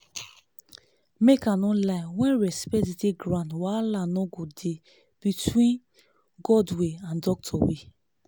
make i no lie when respect dey ground wahala no go dey between god way and doctor way